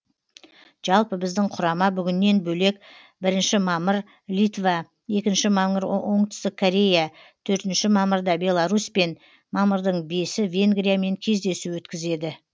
жалпы біздің құрама бүгіннен бөлек бірінші мамыр литва екінші мамыр оңтүстік корея төртінші мамырда беларусьпен мамырдың бесі венгриямен кездесу өткізеді